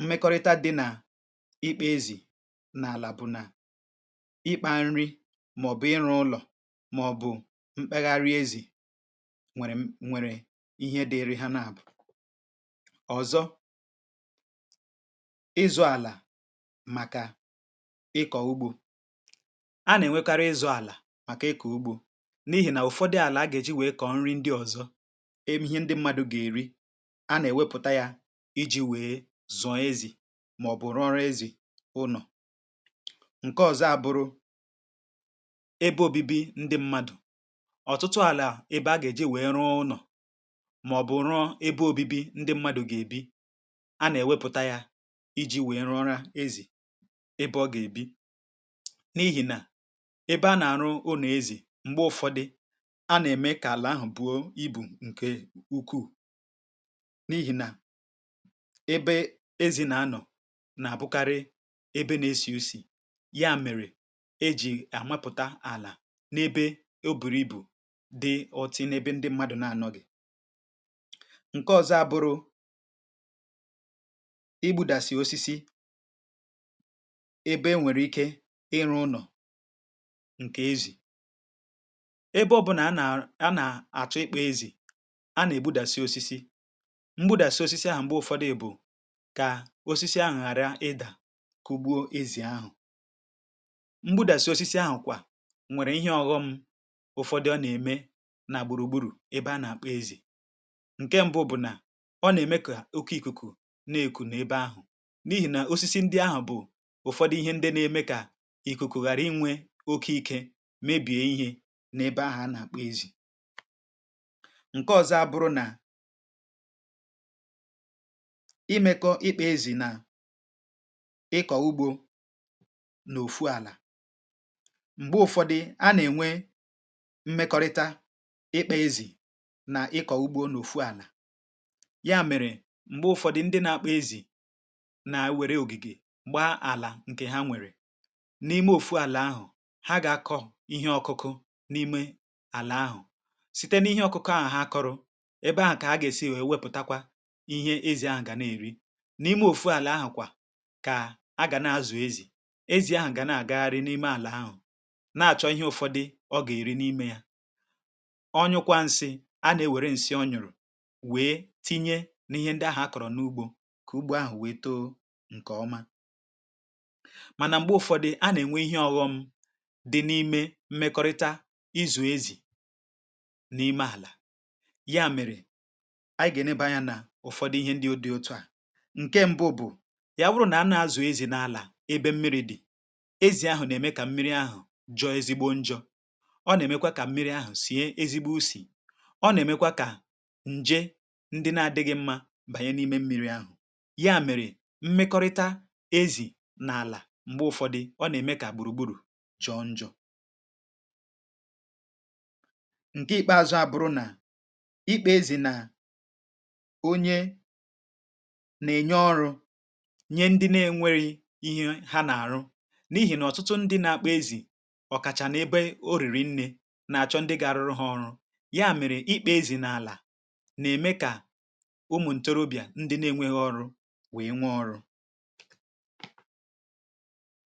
mmekọrịta dị nà ịkpȧ ezì n’àlà bụ̀ nà ịkpȧ nri màọ̀bụ̀ ịrụ̇ ụlọ̀ màọ̀bụ̀ mkpegharị ezì nwere ihe dịiri ha na abụọ ọzọ ịzụ ala maka ịkọ ugbo a na-enwekarị ịzụ ala maka ịkọ ugbo n’ihi na ụfọdụ ala aga e ji wee kọọ nri ndị ọzọ e ihe ndị mmadụ ga-eri a na-ewepụta ya iji wee zọọ ezi ma ọ bụrụ ọrụ ezi uno nke ọzọ abụrụ ebe obibi ndị mmadụ màọ̀bụ̀ ụ̀rọ ebe obibi ndị mmadụ̀ gà-èbi a nà-èwepụ̀ta ya iji wèe rụọrọ ezì ebe ọ gà-èbi n’ihì nà ebe a nà-àrụ ọ n’èzi m̀gbe ụ̀fọdị a nà-ème kà àlọ̀ ahụ̀ buo ibu̇ ǹkè ukwuù n’ihì nà ebe ezì nà-anọ̀ nà-àbụkarị ebe na-esi̇usi̇ ya mèrè e jì àmapụ̀ta àlà n’ebe o bùrù ibù nke ọzọ abụrụ̇ i budasị osisi ebe enwere ike ịrụ nọ̀ nke ezì ebe ọ bụna a na-a na-atụ ikpo ezì a na-ebudasị osisi mgbudasị osisi ahụ̀ mgbe ụfọdụ ebù ka osisi ahụ̀ ghara ịda kugbuo ezì ahụ̀ mgbudasị osisi ahụ̀ kwà nwere ihe ọghọm ụfọdụ ọ na-eme ǹke mbu bụ̀ nà ọ nà-ème kà oke ìkùkù na-èkù n’ebe ahụ̀ n’ihì nà osisi ndị ahụ̀ bụ̀ ụ̀fọdụ ihe ndị nȧ-ėmė kà ìkùkù ghàra inwė oke ikė mebìe ihe n’ebe ahụ̀ anà-àkpọ ezì ǹke ọ̀zọ abụrụ nà imekọ ikpeėzì nà ịkọ̀ ugbȯ n’òfu àlà m̀gbe ụ̀fọdụ a nà-ènwe mmekọrịta ya mèrè m̀gbe ụ̀fọdụ ndị na-akpụ ezì na-ewère ògìgè m̀gba àlà ǹkè ha nwèrè n’ime òfùàlà ahụ̀ ha ga-akọ̇ ihe ọkụkụ n’ime àlà ahụ̀ site n’ihe ọkụkụ ahụ̀ ha kọrụ ebe ahụ̀ kà a ga-esi wėwepùtakwa ihe ezì ahụ̀ gà na-èri n’ime òfùàlà ahụ̀ kà a gà na-azụ̀ ezì ezì ahụ̀ gà na-àgagharị n’ime àlà ahụ̀ na-àchọ ihe ụ̇fọ̇dụ ọ gà-èri n’ime ya wee tinye n’ihe ndị ahụ̀ a kọ̀rọ̀ n’ugbȯ kà ugbo ahụ̀ wèe too ǹkè ọma mànà m̀gbè ụ̀fọdụ a nà-ènwe ihe ọ̀ghọm dị n’ime mmekọrịta izù ezì n’ime àlà ya mèrè àyị gà-ènebanyanà ụ̀fọdụ ihe ndị o dị otu à ǹke mbụ bụ̀ ya bụrụ nà a nà-azù ezì n’àlà ebe mmiri dị̀ ezì ahụ̀ nà-ème kà mmiri ahụ̀ jọọ ezigbo njọ̇ ọ nà-èmekwa kà mmiri ahụ̀ sì e ezigbo usì ndị na-adịghị mmȧ bànye n’ime mmiri ahụ̀ ya mèrè mmekọrịta ezì n’àlà m̀gbe ụ̀fọdụ ọ nà-ème kà gbùrùgbùrù jọọ njọọ nke ikpeȧzụ̇ abụ̀rụ nà ikpeȧzụ̇ na onye nà-ènye ọrụ̇ nye ndị na-enwere ihe ha nà-àrụ n’ihì nà ọ̀tụtụ ndị nȧ-akpọ ezì ọ̀kàchà n’ebe orìrì nne nà-àchọ ndị ga-arụrụ ha ọrụ ụmụ̀ ntorobịà ndị nȧ-enwėghị ọrụ weė nwee ọrụ